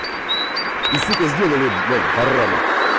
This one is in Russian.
и сука сделали блядь бараны